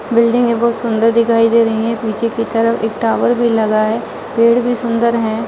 Building बहुत सुंदर दिखाई दे रही है। पीछे के तरफ एक टावर भी लगा है। पेड़ भी सुंदर है।